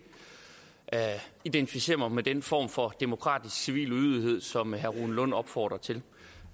identificere mig med den form for demokratisk civil ulydighed som herre rune lund opfordrer til